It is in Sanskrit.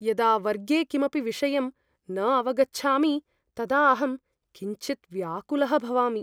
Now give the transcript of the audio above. यदा वर्गे कमपि विषयं न अवगच्छामि तदा अहं किञ्चित् व्याकुलः भवामि।